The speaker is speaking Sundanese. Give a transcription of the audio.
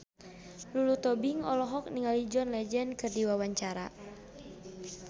Lulu Tobing olohok ningali John Legend keur diwawancara